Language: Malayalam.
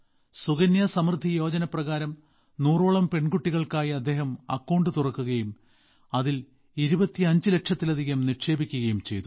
സുകന്യ സമൃദ്ധി യോജന പ്രകാരം 100 ഓളം പെൺകുട്ടികൾക്കായി അദ്ദേഹം അക്കൌണ്ട് തുറക്കുകയും അതിൽ 25 ലക്ഷത്തിലധികം നിക്ഷേപിക്കുകയും ചെയ്തു